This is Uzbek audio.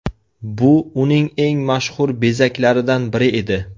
Bu uning eng mashhur bezaklaridan biri edi.